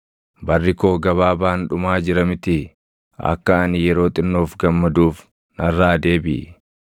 Barri koo gabaabaan dhumaa jira mitii? Akka ani yeroo xinnoof gammaduuf narraa deebiʼi;